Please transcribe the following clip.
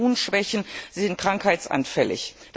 Sie haben Immunschwächen, sie sind krankheitsanfällig.